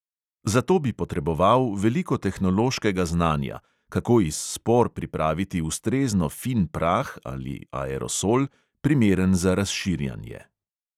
Za to bi potreboval veliko tehnološkega znanja, kako iz spor pripraviti ustrezno fin prah ali aerosol, primeren za razširjanje.